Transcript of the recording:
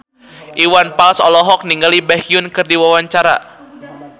Iwan Fals olohok ningali Baekhyun keur diwawancara